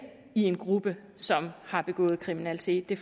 i en gruppe som har begået kriminalitet det